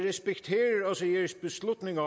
man